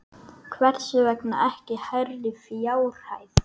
Hvers vegna ekki hærri fjárhæð?